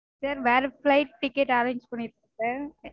Sir வேற flight ticket arrange பண்ணிருக்கோம் sir